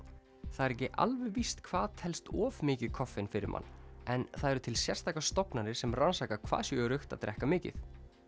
það er ekki alveg víst hvað telst of mikið koffein fyrir mann en það eru til sérstakar stofnanir sem rannsaka hvað sé öruggt að drekka mikið